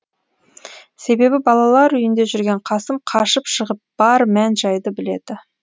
себебі балалар үйінде жүрген қасым қашып шығып бар мән жайды біледі